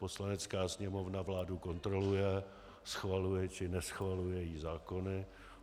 Poslanecká sněmovna vládu kontroluje, schvaluje či neschvaluje její zákony.